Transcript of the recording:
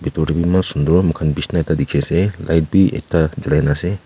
Bethor dae bhi eman sundur moikhan beshna ekta dekhey ase light bhi ekta julaikena ase.